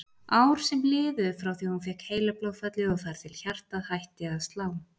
Ár sem liðu frá því hún fékk heilablóðfallið og þar til hjartað hætti að slá.